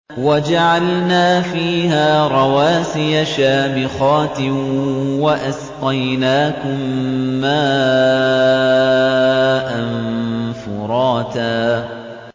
وَجَعَلْنَا فِيهَا رَوَاسِيَ شَامِخَاتٍ وَأَسْقَيْنَاكُم مَّاءً فُرَاتًا